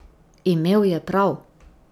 Imel je prav.